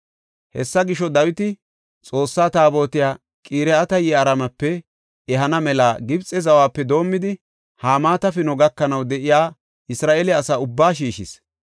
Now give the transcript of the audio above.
Hessa gisho, Dawiti Xoossa Taabotiya Qiriyaat-Yi7aarimepe ehana mela Gibxe zawape doomidi Hamaata Pino gakanaw de7iya Isra7eele asa ubbaa shiishis.